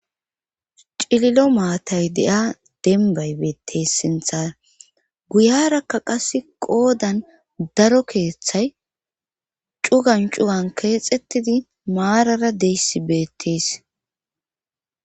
cililo maatay de'a denbay beettes sinthara guyarakka qase qoodan daro keeththay cugan cugan keexxettidi maarara dizayssi beettes